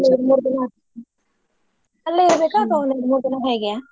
ಮುರ್ ದಿನಾ ಅಲ್ಲೆ ಇರ್ಬೆಕಾ ಒಂದೆರ್ಡ್ ಮೂರ್ ದಿನಾ ಹೇಗೆ?